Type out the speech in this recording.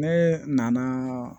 Ne nana